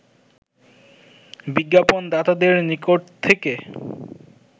বিজ্ঞাপণদাতাদের নিকট থেকে